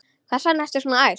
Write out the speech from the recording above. Hvers vegna ertu svona æst?